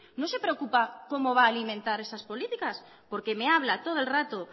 no se preocupa cómo va a alimentar esas políticas porque me habla todo el rato